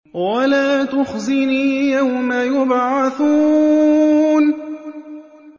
وَلَا تُخْزِنِي يَوْمَ يُبْعَثُونَ